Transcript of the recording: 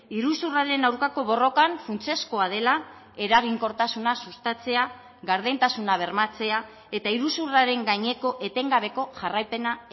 iruzurraren aurkako borrokan funtsezkoa dela eraginkortasuna sustatzea gardentasuna bermatzea eta iruzurraren gaineko etengabeko jarraipena